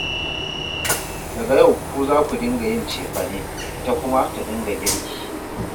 Daga yau ku za ku dinga yin cefane, ita kuma ta dinga girki